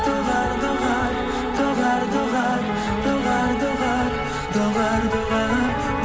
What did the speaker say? доғар доғар доғар доғар доғар доғар доғар доғар